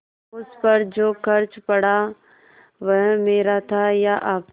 उस पर जो खर्च पड़ा वह मेरा था या आपका